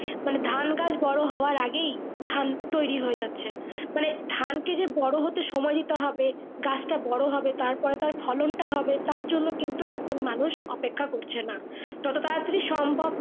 মানে ধান গাছ বোরো হওয়ার আগেই ধান তৌরি হয়ে যাচ্ছে মানে ধান কে যে বোরো হতে সময় দিতে হবে গাছ টা বোরো হতে হবে তার পরে তার ফলন টা হবে তার জন্য কিন্তু এখন মানুষ অপেক্ষা করছে না যত তারা তারই সম্ভব।